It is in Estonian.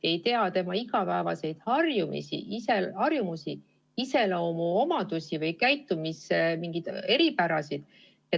Ta ei tea tema igapäevaseid harjumusi, iseloomuomadusi ega käitumise eripärasid.